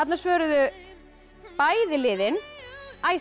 svöruðu bæði liðin